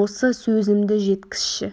осы сөзімді жеткізші